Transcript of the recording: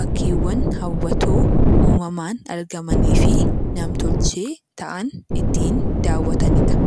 bakkeewwan hawwatoo uumamaan argamanii fi nam-tolchee ta'an ittiin daawwatani dha.